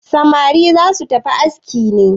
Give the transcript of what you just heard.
Samari za su tafi aski ne?